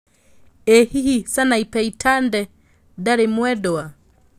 ĩ hĩhĩ Sanapei Tande ndarĩ mwendwa